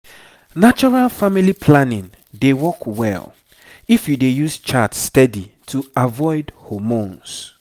natural family planning dey work well if you dey use chart steady to avoid hormones.